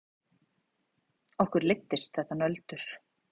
Okkur leiddist þetta nöldur.